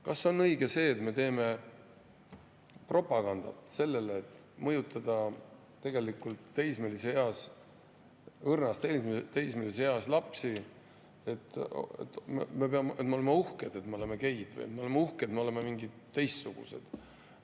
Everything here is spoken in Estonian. Kas on õige see, et me teeme sellele propagandat, mõjutades õrnas teismeeas lapsi, et me oleme uhked, kuna me oleme geid, et me oleme uhked, kuna me oleme teistsugused?